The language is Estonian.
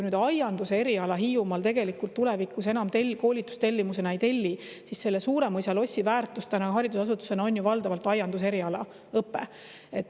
Kui aianduse eriala Hiiumaal tulevikus enam koolitustellimusena ei tellita, siis Suuremõisa lossi väärtus praegu haridusasutusena on ju valdavalt aianduseriala õpe.